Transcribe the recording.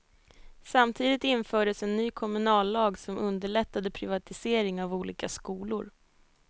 Samtidigt infördes en ny kommunallag som underlättade privatisering av olika skolor.